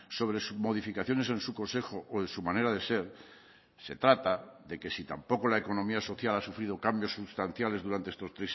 sobre sus modificaciones en su consejo o en su manera de ser se trata de que si tampoco la economía social ha sufrido cambios sustanciales durante estos